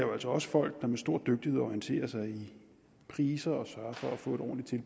jo altså også folk der med stor dygtighed orienterer sig i priser og sørger for at få et ordentligt